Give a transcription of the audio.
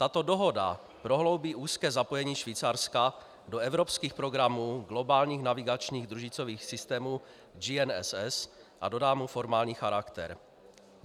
Tato dohoda prohloubí úzké zapojení Švýcarska do evropských programů globálních navigačních družicových systémů GNSS a dodá mu formální charakter.